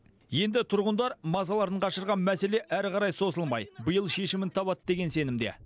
енді тұрғындар мазаларын қашырған мәселе әрі қарай созылмай биыл шешімін табады деген сенімде